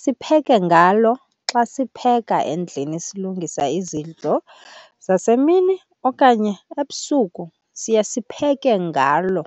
sipheke ngalo. Xa sipheka endlini silungisa izidlo zasemini okanye ebusuku siya sipheke ngalo.